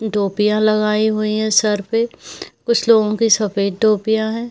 टोपियाँ लगाई हुई है सर पे कुछ लोगों पे सफ़ेद टोपियाँ है।